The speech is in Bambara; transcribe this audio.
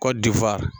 Kɔ difa